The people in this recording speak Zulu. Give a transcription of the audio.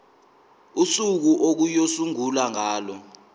usuku okuyosungulwa ngalo